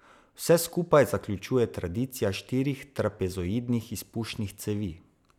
Vse skupaj zaključuje tradicija štirih trapezoidnih izpušnih cevi.